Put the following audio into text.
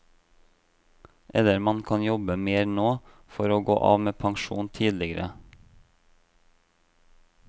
Eller man kan jobbe mer nå, for å gå av med pensjon tidligere.